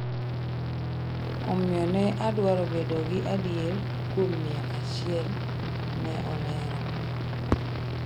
Omiyo, ne adwaro bedo gi adier kuom mia achiel'', ne olero.